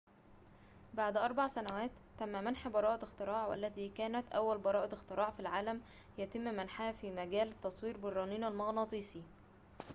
بعد أريع سنوات تم منح براءة اختراع والتي كانت أول براءة اختراع في العالم يتم منحها في مجال التصوير بالرنين المغناطيسي